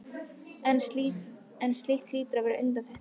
en slíkt hlýtur að vera undantekning.